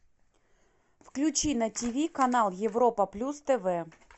включи на ти ви канал европа плюс тв